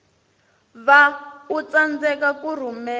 va u tsandzeka ku rhumela